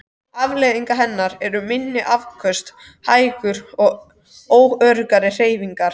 Afleiðing hennar eru minni afköst, hægar og óöruggar hreyfingar.